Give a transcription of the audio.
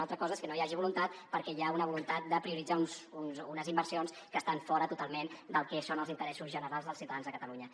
una altra cosa és que no n’hi hagi voluntat perquè hi ha una voluntat de prioritzar unes inversions que estan fora totalment del que són els in·teressos generals dels ciutadans de catalunya